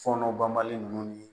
Fɔnɔ banbali nunnu ni